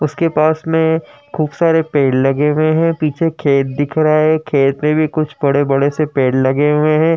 उसके पास मे खूब सारे पेड़ लगे हुए हैं। पीछे खेत दिख रहा हैं। खेत मे भी कुछ बड़े बड़े से पेड़ लगे हुए हैं।